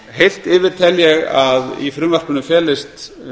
heilt yfir tel ég að í frumvarpinu felist